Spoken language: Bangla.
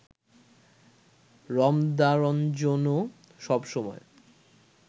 রমদারঞ্জনও সব সময়